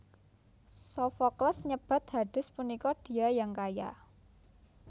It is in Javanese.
Sofokles nyebat Hades punika Dia Yang Kaya